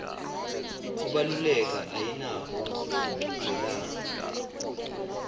kubaluleka ayinako kuchudzelana